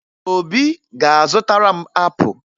Obi ga-azụtara m apụ